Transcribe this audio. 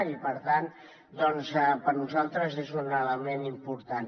i per tant doncs per nosaltres és un element important